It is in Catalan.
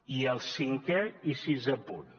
i el cinquè i sisè punt